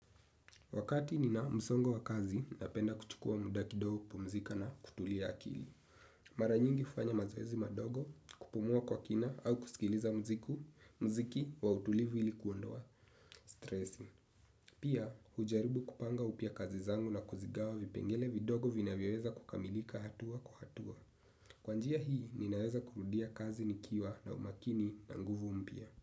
Wakati nina msongo wa kazi, napenda kuchukua muda kidogo kupumzika na kutulia akili. Mara nyingi ufanya mazoezi madogo, kupumua kwa kina au kusikiliza mziku, mziki wa utulivu ili kuondoa, stresi. Pia, hujaribu kupanga upya kazi zangu na kuzigawa vipengele vidogo vinavyoweza kukamilika hatua kwa hatua. Kwa njia hii, ninaweza kurudia kazi nikiwa na umakini na nguvu mpya.